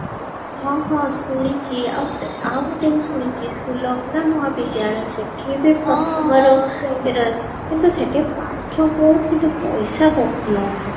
ହଁ ହଁ ଶୁଣିଛି ଆଉ ଗୋଟେ ଆଉ ଗୋଟେ ଶୁଣିଛି ସୁଲଗ୍ନା ମହା ବିଦ୍ୟାଳୟ କିନ୍ତୁ କିନ୍ତୁ ସେଠି ପାଠ ବହୁତ କିନ୍ତୁ ପଇସା ବହୁତ ନଉଛନ୍ତି